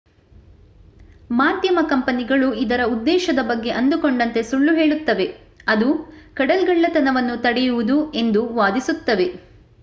ಮಾಧ್ಯಮ ಕಂಪನಿಗಳು ಇದರ ಉದ್ದೇಶದ ಬಗ್ಗೆ ಅಂದುಕೊಂಡಂತೆ ಸುಳ್ಳು ಹೇಳುತ್ತವೆ ಅದು ಕಡಲ್ಗಳ್ಳತನವನ್ನು ತಡೆಯುವುದು ಎಂದು ವಾದಿಸುತ್ತವೆ